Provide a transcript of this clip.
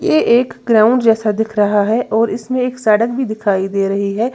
ये एक ग्राउंड जैसा दिख रहा है और इसमें एक सड़क भी दिखाई दे रही है।